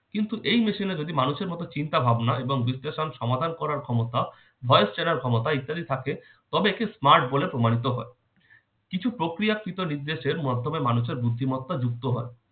কিন্তু এই machine এ যদি মানুষের মতো চিন্তা ভাবনা এবং বিশ্লেষণ সমাধান করার ক্ষমতা voice চেনার ক্ষমতা ইত্যাদি থাকে তবে একে smart বলে প্রমাণিত হয়। কিছু প্রক্রিয়াকৃত নির্দেশের মাধ্যমে মানুষের বুদ্ধিমত্তা যুক্ত হয়।